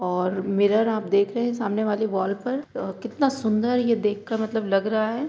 और मिरर आप देख रहे सामने वाले वाल पर अ कितना सुन्दर देख कर मतलब लग रहा है ।